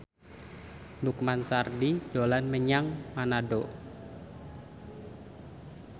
Lukman Sardi dolan menyang Manado